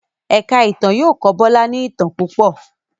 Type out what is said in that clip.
èka ìtàn yóò kọ Bola ní itán púpọ